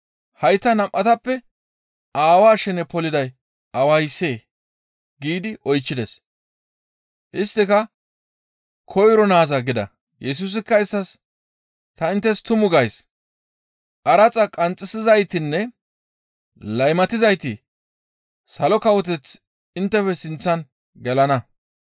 Hayta nam7atappe aawaa shene poliday awayssee?» giidi oychchides. Isttika, «Koyro naaza!» gida. Yesusikka isttas, «Ta inttes tumu gays; qaraxa qanxxisizaytinne laymatizayti Salo Kawoteth inttefe sinththan gelana.